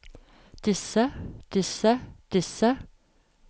disse disse disse